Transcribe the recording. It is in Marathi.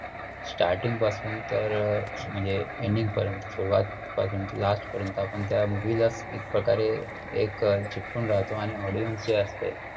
starting पासून तर म्हणजे ending पर्यंत सुरवात पासून last पर्यंत आपण त्या movie ला एक प्रकारे एक चिकटून राहतो आणि audience जे असतोय,